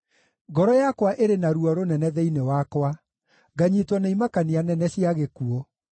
Ngoro yakwa ĩrĩ na ruo rũnene thĩinĩ wakwa, nganyiitwo nĩ imakania nene cia gĩkuũ.